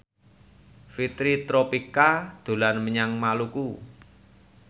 Fitri Tropika dolan menyang Maluku